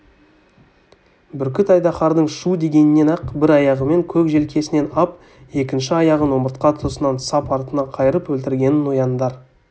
бүркіт айдаһардың шу дегеннен-ақ бір аяғымен көк желкесінен ап екінші аяғын омыртқа тұсынан сап артына қайырып өлтіргенін нояндар